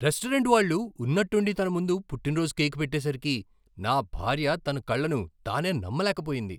Restaurant వాళ్ళు ఉన్నట్టుండి తన ముందు పుట్టినరోజు కేకు పెట్టేసరికి నా భార్య తన కళ్ళను తానే నమ్మలేకపోయింది.